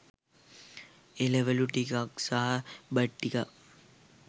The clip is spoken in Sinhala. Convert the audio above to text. එළවලු ටිකක් සහ බත් ටිකක්